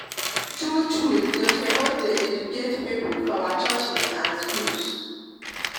true true dem sopos de educate pipul for our churches and schools